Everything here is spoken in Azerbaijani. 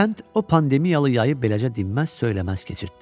Kənd o pandemiyalı yayı beləcə dinməz-söyləməz keçirtdi.